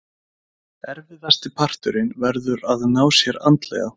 Erfiðasti parturinn verður að ná sér andlega.